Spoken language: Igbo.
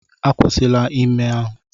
Akwụsịla ime ime!